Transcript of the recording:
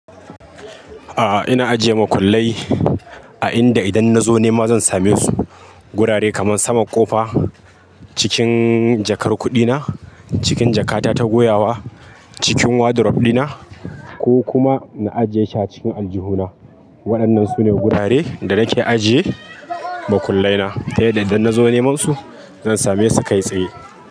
Ah ina ajiye makullai a inda idan na zo nema zan same su. Gurare kaman saman ƙofa, cikin jakar kuɗi na, cikin jakata ta goyawa, cikin wardrobe dina ko kuma na ajiye shi a cikin aljihuna. Wa'annan sune gurare da nake ajiye makullai na ta yadda idan na zo neman su zan same su kai tsaye.